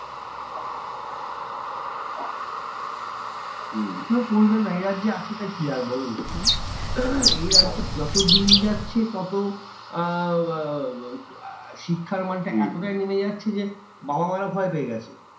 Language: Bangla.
কেন করবে না? এ রাজ্যে আছে টা কি আর বলোনা? এই রাজ্যে যত দিন যাচ্ছে তত আহ শিক্ষার মান টা এতটাই নেবে যাচ্ছে যে, বাবা মা রা ভয় পেয়ে গেছে।